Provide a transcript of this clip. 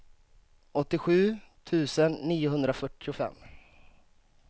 åttiosju tusen niohundrafyrtiofem